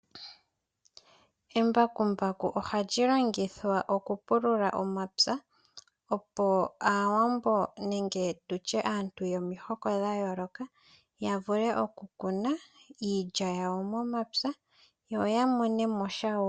Embakumbaku ohali longithwa oku pulula omapya opo aawambo nenge tutye aantu yomihoko dha yooloka ya vule oku kuna iilya yawo momapya yo ya monemosha wo.